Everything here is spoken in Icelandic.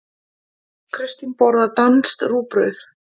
Kristín borðar danskt rúgbrauð.